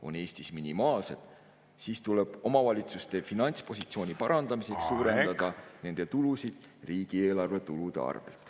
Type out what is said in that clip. … on Eestis minimaalsed, siis tuleb omavalitsuste finantspositsiooni parandamiseks suurendada nende tulusid riigieelarve tulude arvelt.